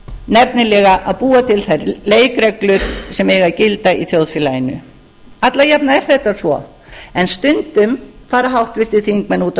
nefnilega að búa til þær leikreglur sem eiga að gilda í þjóðfélaginu alla jafna er þetta svo en stundum fara háttvirtir þingmenn út af